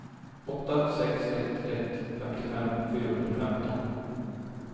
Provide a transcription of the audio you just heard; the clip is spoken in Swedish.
åtta sex ett ett femtiofem fyrahundrafemton